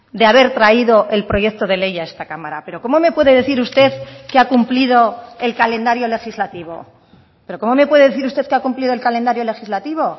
de haber traído el proyecto de ley a esta cámara pero cómo me puede decir usted que ha cumplido el calendario legislativo pero cómo me puede decir usted que ha cumplido el calendario legislativo